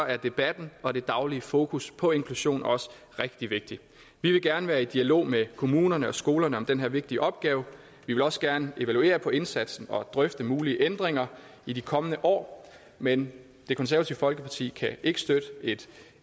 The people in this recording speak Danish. er debatten og det daglige fokus på inklusion også rigtig vigtigt vi vil gerne være i dialog med kommunerne og skolerne om den her vigtige opgave vi vil også gerne evaluere på indsatsen og drøfte mulige ændringer i de kommende år men det konservative folkeparti kan ikke støtte et